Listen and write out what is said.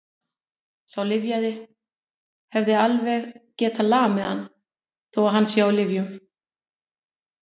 Sá lyfjaði hefði alveg getað lamið hann, þó að hann sé á lyfjum.